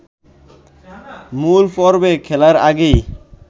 মূল পর্বে খেলার আগেই